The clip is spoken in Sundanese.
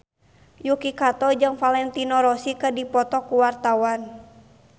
Yuki Kato jeung Valentino Rossi keur dipoto ku wartawan